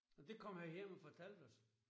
Og det kom han hjem og fortalte os